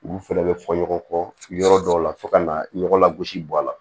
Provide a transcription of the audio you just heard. Olu fɛnɛ bɛ fɔ ɲɔgɔn kɔ yɔrɔ dɔw la fo ka na ɲɔgɔn lagosi bɔ a la